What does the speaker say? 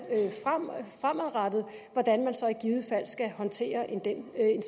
fremadrettet så i givet fald skal håndtere en